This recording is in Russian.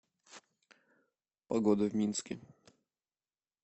погода в минске